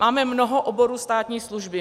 Máme mnoho oborů státní služby.